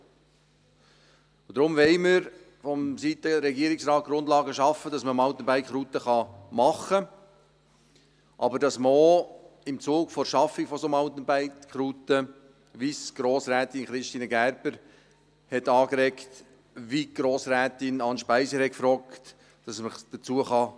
Und deshalb wollen wir vonseiten des Regierungsrates Grundlagen dafür schaffen, dass man Mountainbike-Routen machen kann, aber dass man sich im Zuge der Schaffung solcher Mountainbike-Routen auch dazu äussern kann, wie es Grossrätin Christine Gerber angeregt und wie Grossrätin Anne Speiser gefragt hat.